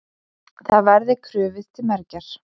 Það verði krufið til mergjar.